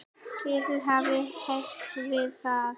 Lítið hafi heyrst um það.